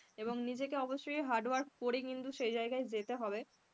এবং নিজেকে অবসসই hardwork করে কিন্তু সেই জায়গায় যেতে হবে,